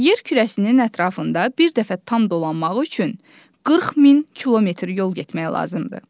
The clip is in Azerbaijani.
Yer kürəsinin ətrafında bir dəfə tam dolanmaq üçün 40000 kilometr yol getmək lazımdır.